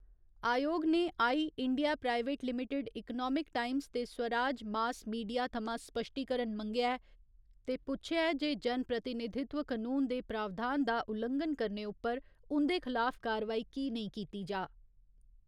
आयोग ने I . India private limited economic times ते स्वराज मास मीडिया थमां स्पश्टीकरण मंगेआ ऐ ते पुच्छेआ ऐ जे जनप्रतिनिधित्व कनून दे प्रावधान दा उल्लंघन करने उप्पर उं'दे खलाफ कारवाई कि नेईं कीती जा।